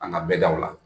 An ka bɛ daw la